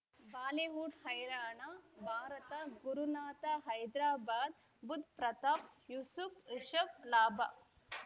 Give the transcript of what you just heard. Bollywood ಹೈರಾಣ ಭಾರತ ಗುರುನಾಥ ಹೈದರಾಬಾದ್ ಬುಧ್ ಪ್ರತಾಪ್ ಯೂಸುಫ್ ರಿಷಬ್ ಲಾಭ